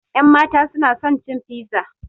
Ƴanmata suna son cin fiza